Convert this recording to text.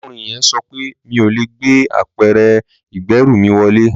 Arákùnrin yẹn sọ pé mi ò lè gbé apẹ̀rẹ̀ ìgbẹ́rù mi wọlé